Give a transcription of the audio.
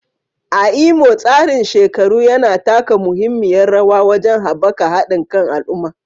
A Imo, tsarin shekaru yana taka muhimmiyar rawa wajen haɓaka haɗin kan al'umma